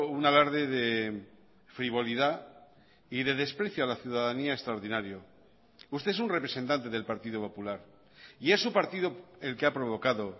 un alarde de frivolidad y de desprecio a la ciudadanía extraordinario usted es un representante del partido popular y es su partido el que ha provocado